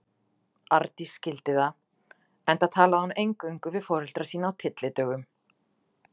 Arndís skildi það, enda talaði hún eingöngu við foreldra sína á tyllidögum.